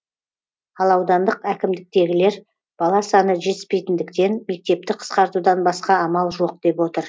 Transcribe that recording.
ал аудандық әкімдіктегілер бала саны жетіспейтіндіктен мектепті қысқартудан басқа амал жоқ деп отыр